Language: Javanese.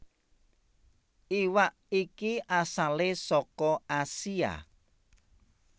Iwak iki asale saka Asia